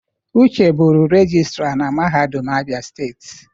Uche bụrụ regịstra na mahadum Abia steeti.